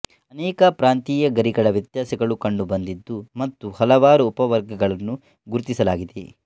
ಅನೇಕ ಪ್ರಾಂತೀಯ ಗರಿಗಳ ವ್ಯತ್ಯಾಸಗಳು ಕಂಡುಬಂದಿದ್ದು ಮತ್ತು ಹಲವಾರು ಉಪವರ್ಗಗಳನ್ನು ಗುರುತಿಸಲಾಗಿದೆ